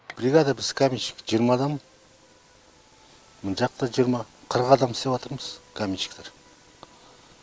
бригада біз каменщик жиырма адам мынжақта жиырма қырық адам істеватырмыз каменщиктар